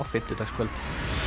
fimmtudagskvöld